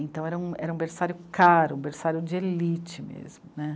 Então era um, era um berçário caro, um berçário de elite mesmo, né.